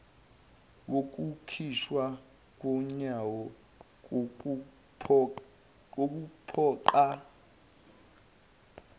wokukhishwa komyalo wokuphoqa